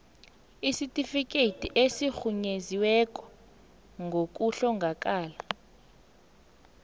isitifikhethi esirhunyeziweko sokuhlongakala